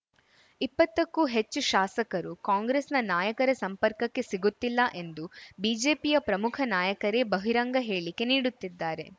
ಇಪ್ಪತ್ತಕ್ಕೂ ಹೆಚ್ಚು ಶಾಸಕರು ಕಾಂಗ್ರೆಸ್‌ನ ನಾಯಕರ ಸಂಪರ್ಕಕ್ಕೆ ಸಿಗುತ್ತಿಲ್ಲ ಎಂದು ಬಿಜೆಪಿಯ ಪ್ರಮುಖ ನಾಯಕರೇ ಬಹಿರಂಗ ಹೇಳಿಕೆ ನೀಡುತ್ತಿದ್ದಾರೆ